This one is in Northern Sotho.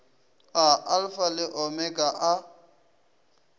a alfa le omega a